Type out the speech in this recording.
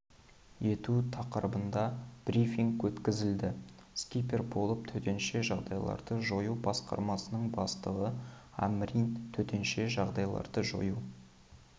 ету тақырыбында брифинг өткізілді спикер болып төтенше жағдайларды жою басқармасының бастығы амрин төтенше жағдайларды жою